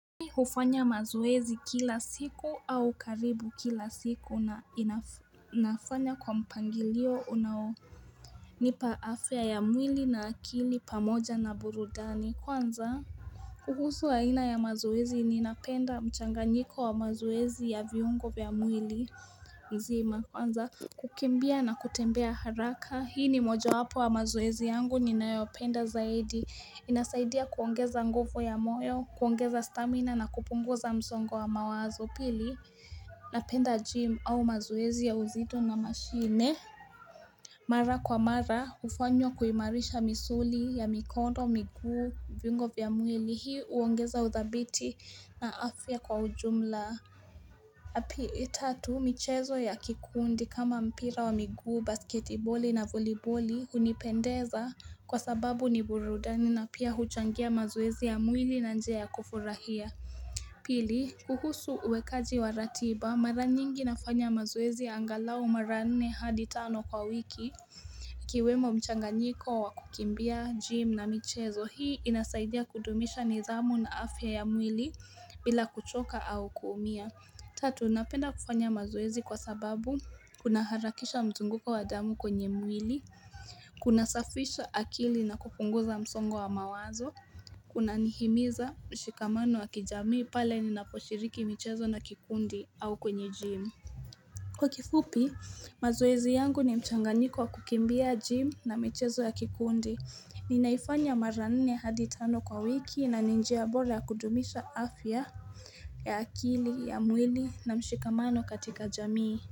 Hufanya mazoezi kila siku au karibu kila siku na inafanya kwa mpangilio unao nipa afya ya mwili na akili pamoja na burudani kwanza kuhusu aina ya mazoezi ninapenda mchanganyiko wa mazoezi ya viungo vya mwili nzima Kwanza kukimbia na kutembea haraka Hii ni moja wapo wa mazoezi yangu ninayopenda zaidi Inasaidia kuongeza nguvu ya moyo, kuongeza stamina na kupungu za msongo wa mawazo pili Napenda gym au mazoezi ya uzito na mashine Mara kwa mara, hufanywa kuimarisha misuli ya mikono, miguu, vingo vya mwili, hii uongeza uthabiti na afya kwa ujumla ya pi tatu michezo ya kikuundi kama mpira wa miguu basketiboli na voliboli hunipendeza kwa sababu ni burudani na pia huchangia mazoezi ya mwili na njia ya kufurahia Pili kuhusu uwekaji wa ratiba mara nyingi nafanya mazowezi ya angalau mara nne hadi tano kwa wiki Ikiwemo mchanganyiko wa kukimbia gym na michezo hii inasaidia kudumisha nidhamu na afya ya mwili bila kuchoka au kuumia Tatu napenda kufanya mazoezi kwa sababu kuna harakisha mzunguko wadamu kwenye mwili Kuna safisha akili na kupunguza msongo wa mawazo Kuna nihimiza mshikamano wa kijamii pale ninaposhiriki michezo na kikundi au kwenye gym Kwa kifupi mazoezi yangu ni mchanganiko wa kukimbia gym na michezo ya kikundi Ninaifanya maranine hadi tano kwa wiki na ni njia bora ya kudumisha afya ya akili, ya mwili na mshikamano katika jamii.